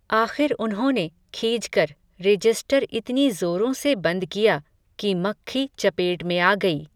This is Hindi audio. आख़िर उन्होंने, खीझकर, रेजिस्टर इतनी ज़ोरों से बन्द किया, कि मख्खी चपेट में आ गई